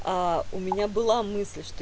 а у меня была мысль что